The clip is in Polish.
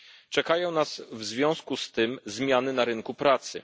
Czekają nas w związku z tym zmiany na rynku pracy.